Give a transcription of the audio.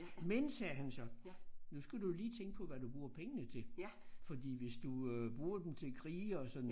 Men sagde han så nu skal du jo lige tænke på hvad du bruger pengene til fordi hvis du øh bruger dem til krige og sådan